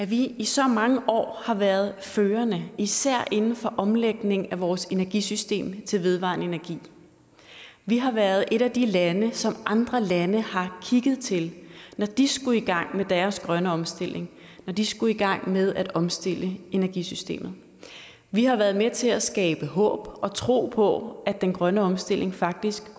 vi i så mange år har været førende især inden for omlægning af vores energisystem til vedvarende energi vi har været et af de lande som andre lande har kigget til når de skulle i gang med deres grønne omstilling når de skulle i gang med at omstille energisystemet vi har været med til at skabe håb og tro på at den grønne omstilling faktisk kan